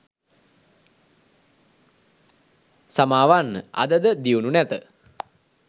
සමාවන්න අද ද දියුණු නැත